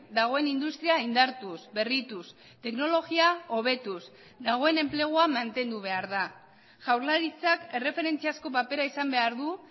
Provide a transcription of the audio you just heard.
dagoen industria indartuz berrituz teknologia hobetuz dagoen enplegua mantendu behar da jaurlaritzak erreferentziazko papera izan behar du